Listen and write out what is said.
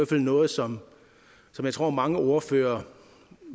fald noget som jeg tror mange ordførere